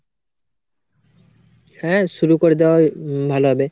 হ্যা শুরু করে দেয়াই উম ভালো হবে,